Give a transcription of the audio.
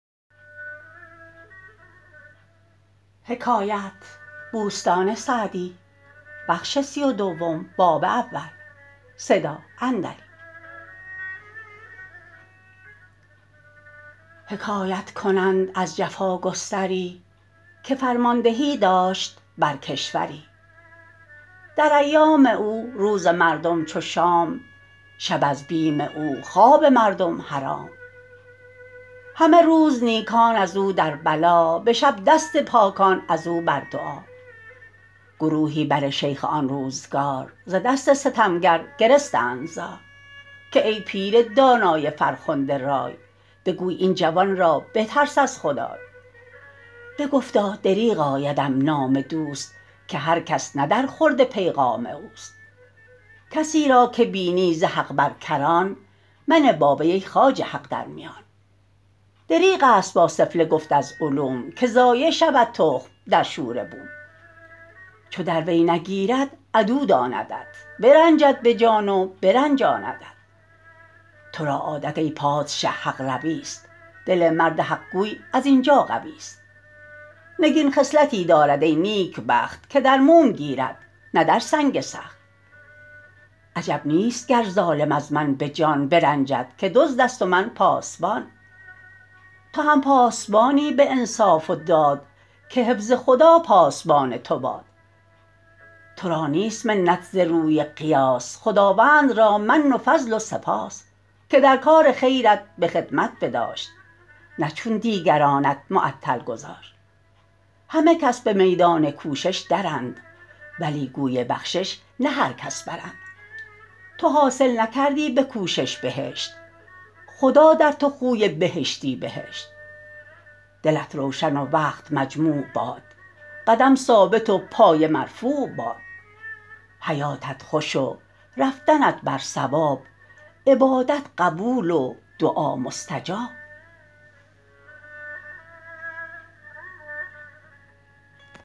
حکایت کنند از جفاگستری که فرماندهی داشت بر کشوری در ایام او روز مردم چو شام شب از بیم او خواب مردم حرام همه روز نیکان از او در بلا به شب دست پاکان از او بر دعا گروهی بر شیخ آن روزگار ز دست ستمگر گرستند زار که ای پیر دانای فرخنده رای بگوی این جوان را بترس از خدای بگفتا دریغ آیدم نام دوست که هر کس نه در خورد پیغام اوست کسی را که بینی ز حق بر کران منه با وی ای خواجه حق در میان دریغ است با سفله گفت از علوم که ضایع شود تخم در شوره بوم چو در وی نگیرد عدو داندت برنجد به جان و برنجاندت تو را عادت ای پادشه حق روی است دل مرد حق گوی از این جا قوی است نگین خصلتی دارد ای نیکبخت که در موم گیرد نه در سنگ سخت عجب نیست گر ظالم از من به جان برنجد که دزد است و من پاسبان تو هم پاسبانی به انصاف و داد که حفظ خدا پاسبان تو باد تو را نیست منت ز روی قیاس خداوند را من و فضل و سپاس که در کار خیرت به خدمت بداشت نه چون دیگرانت معطل گذاشت همه کس به میدان کوشش درند ولی گوی بخشش نه هر کس برند تو حاصل نکردی به کوشش بهشت خدا در تو خوی بهشتی بهشت دلت روشن و وقت مجموع باد قدم ثابت و پایه مرفوع باد حیاتت خوش و رفتنت بر صواب عبادت قبول و دعا مستجاب